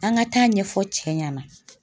An ka taa ɲɛfɔ cɛ ɲɛna.